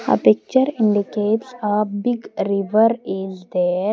the picture indicates a big river is there.